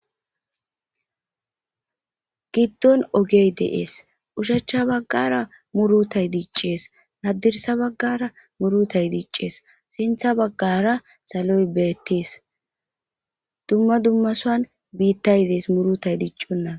giddon ogey dees ushacha baggara murutay diiccees addirsa baggara murutay diiccees sintha baggara saloy beettes dumma dummasoan biittayidees murutay diiccunna